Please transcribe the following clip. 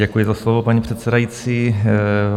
Děkuji za slovo, paní předsedající.